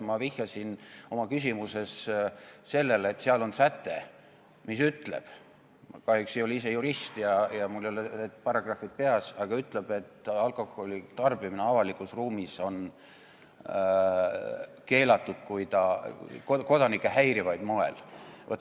Ma vihjasin oma küsimuses sellele, et seal on säte, mis ütleb – ma kahjuks ei ole ise jurist ja mul ei ole paragrahvid peas –, et alkoholitarbimine avalikus ruumis on keelatud kodanikke häirival moel.